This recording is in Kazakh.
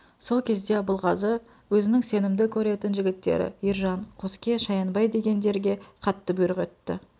сол кезде абылғазы әзінің сенімді көретін жігіттері ержан қоске шаянбай дегендерге қатты бұйрық етті